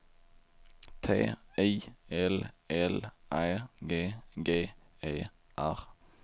T I L L Ä G G E R